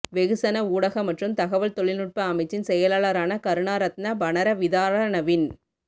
வெகுசன ஊடக மற்றும் தகவல் தொழிநுட்ப அமைச்சின் செயலாளரான கருணாரத்ன பரணவிதாரனவின்